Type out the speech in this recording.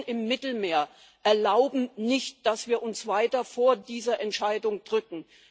Die Toten im Mittelmeer erlauben nicht, dass wir uns weiter vor dieser Entscheidung drücken.